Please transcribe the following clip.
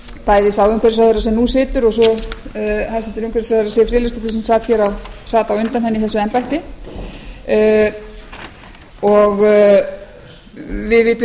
bæði sá umhverfisráðherra sem nú situr og svo hæstvirtur umhverfisráðherra siv friðleifsdóttir sem sat á undan henni í þessu embætti og við vitum